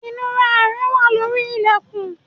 Inura rẹ wà lórí ilẹkun